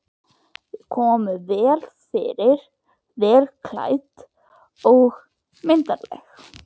Þau koma vel fyrir, vel klædd og myndarleg.